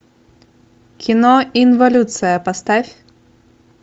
кино инволюция поставь